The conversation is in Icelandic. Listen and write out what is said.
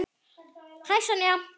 Hæ, Sonja.